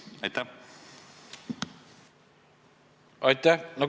Aitäh!